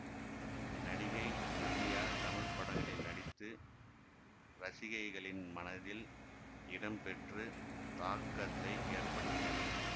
நடிகை நதியா தமிழ் படங்களில் நடித்து ரசிகைகளின் மனத்தில் இடம் பெற்று தாக்கத்தை ஏற்படுத்தியவர்